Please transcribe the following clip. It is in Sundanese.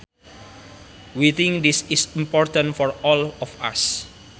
We think this is important for all of us